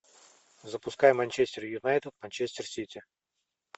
запускай манчестер юнайтед манчестер сити